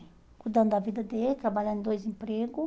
Cuidando da vida dele, trabalhando em dois empregos.